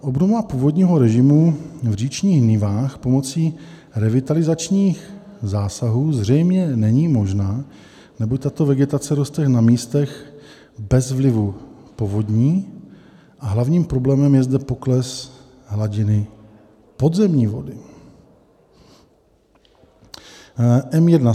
Obnova původního režimu v říčních nivách pomocí revitalizačních zásahů zřejmě není možná, neboť tato vegetace roste na místech bez vlivu povodní a hlavním problémem je zde pokles hladiny podzemní vody.